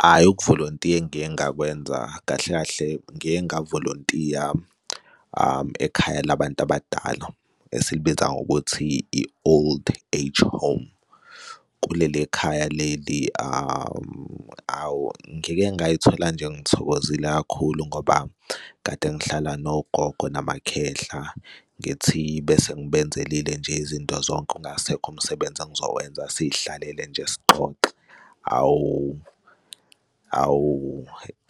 Hhayi, ukuvolontiya ngiye ngakwenza kahle kahle ngiye ngamavolontiya ekhaya labantu abadala esilibiza ngokuthi i-old age home. Kuleli khaya leli awu, ngike ngay'thola nje ngithokozile kakhulu ngoba kade ngihlala nogogo namakhehla ngithi bese ngibenzelile nje izinto zonke ungasekho umsebenzi engizowenza siy'hlalele nje sixoxe, awu, awu